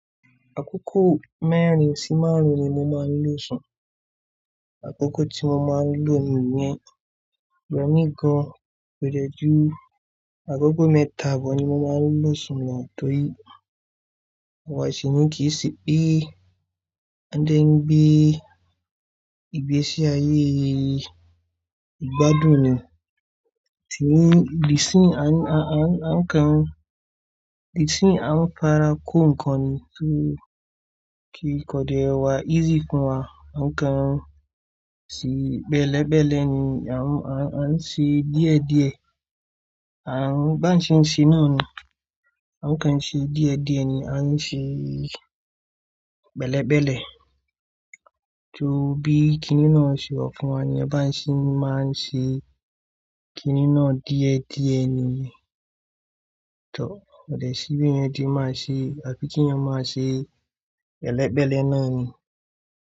Àkókò mẹ́rin sí márùn-ún ni mo máa ń lọ sùn. Àkókò tí mo máa ń lo nìyẹn, lónìí gan, kò dẹ́jù. Àkókò mẹ́ta bọ̀ ni mo máa ń lọ sùn lọ́ọ̀ yìí. Àwa ìṣinyìí kì í ṣe pé a dẹ́ ń gbé ìgbésí ayé yìí, ìgbádùn ni. Ṣìní, ìdí sí à ń, a, a, a ń kàn án. Ìdí sí ń à ń fara kó nǹkan ni torí kí kò dẹ́ ẹ wa, easy fún wa, a ń kàn án sí bẹ́lẹ̀bẹ́lẹ̀ ni. A ń, a, a ń ṣe díẹ̀díẹ̀. A ń, bá ń ṣe ń ṣe náà ni, a ń kàn ṣe díẹ̀díẹ̀ ni a ń ṣe bẹ́lẹ̀bẹ́lẹ̀. Torí bí kiní náà ṣe wọ̀ fún wa ní ẹ bá ń ṣe máa ń ṣe kiní náà díẹ̀díẹ̀ ni. Tọ, ọ̀dẹ̀ sìbí yẹn ti máa ṣe, àfikún iyan máa ṣe, ẹlẹ́bẹ́lẹ́ náà ni.